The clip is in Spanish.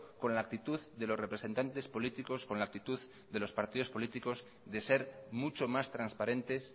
con la actitud de los representantes políticos con la actitud de los partidos políticos de ser mucho más transparentes